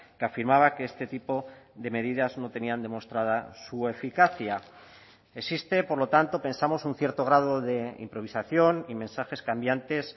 que afirmaba que este tipo de medidas no tenían demostrada su eficacia existe por lo tanto pensamos un cierto grado de improvisación y mensajes cambiantes